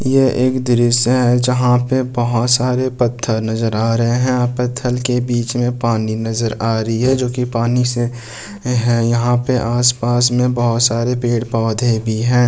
ये एक दृश्य है जहाँ पर बहुत सारे पत्थर नजर आ रहे हैं यहाँ पत्थर के बीच में पानी नजर आ रही है जो की पानी से है यहाँ पे आस-पास में बहुत सारे पेड़-पौधे भी हैं।